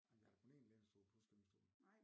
Ej vi har da kun én lænestol plus gyngestolen